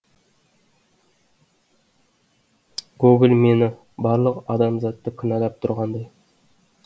гоголь мені барлық адамзатты кінәлап тұрғандай